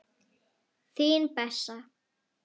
Þín Bessa.